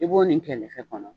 I b'o nin kɛ lɛfɛ kɔnɔ